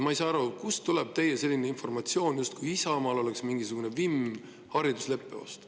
Ma ei saa aru, kust tuleb teie informatsioon, justkui Isamaal oleks mingisugune vimm haridusleppe vastu.